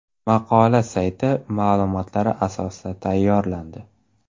Maqola sayti ma’lumotlari asosida tayyorlandi.